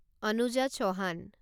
Anuja Chouhan